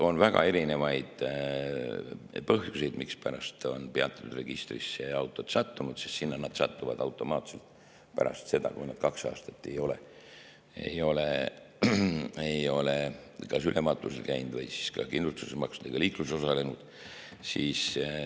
On väga erinevaid põhjusi, mispärast on peatatud autod registrisse sattunud, sest sinna nad satuvad automaatselt pärast seda, kui nad kaks aastat ei ole ülevaatusel käinud või ei ole kindlustust makstud või liikluses osalenud.